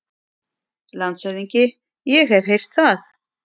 LANDSHÖFÐINGI: Ég hef heyrt það.